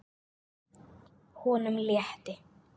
Honum létti.